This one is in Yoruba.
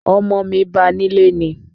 Ọmọ mi ba nílé ni